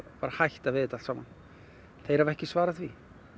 hætta við þetta allt saman þeir hafa ekki svarað því